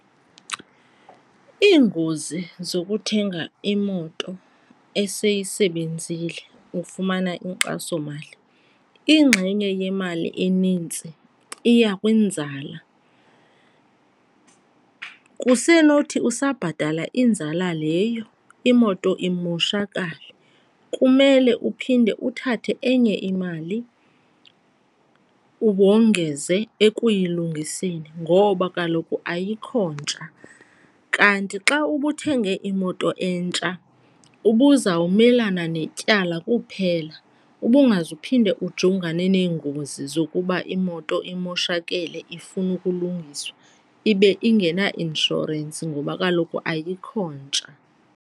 Iingozi zokuthenga imoto eseyisebenzile ufumana inkxasomali, ingxenye yemali enintsi iya kwinzala. Kusenothi usabhatala inzala leyo imoto imoshakale, kumele uphinde uthathe enye imali wongeze ekuyilungiseni ngoba kaloku ayikho ntsha. Kanti xa ubuthenge imoto entsha ubuzawumelana netyala kuphela ubungazuphinde ujongane neengozi zokuba imoto imoshakele ifuna ukulungiswa ibe ingenainshorensi ngoba kaloku ayikho ntsha.